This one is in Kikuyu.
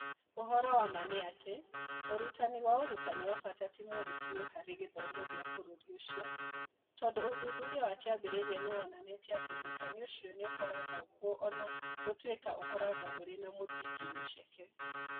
Ũhoro wa ma nĩ atĩ, ũrutani wa ũrutani wa bata ti mwerũ biũ harĩ gĩthomo kĩa bũrũri ũcio, tondũ ũthuthuria wa kĩambĩrĩria nĩ woonanĩtie atĩ ũrutani ũcio nĩ ũkoragwo kuo o na gũtuĩka ũkoragwo ũrĩ na mũthingi mũceke.